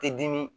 Ti dimi